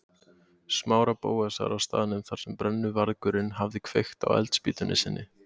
Smára og Bóasar á staðnum þar sem brennuvargurinn hafði kveikt á eldspýtunni sinni.